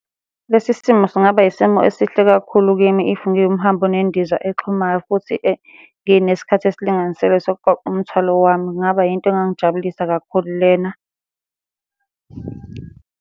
Lesi simo singaba yisimo esihle kakhulu kimi if ngiwumhambi onendiza exhumayo futhi ngineskhathi esilinganiselwe sokuqoqa umthwalo wami, kungaba yinto engangijabulisa kakhulu lena.